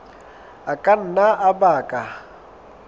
a ka nna a baka